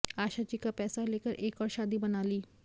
आशा जी का पैसा लेकर एक और शादी बना ली